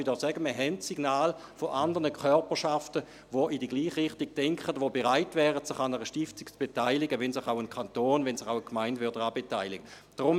Wir haben Signale von anderen Körperschaften – dies darf ich hier sagen –, die in die gleiche Richtung denken und bereit wären, sich an einer Stiftung zu beteiligen, wenn sich ein Kanton, auch eine Gemeinde daran beteiligen würden.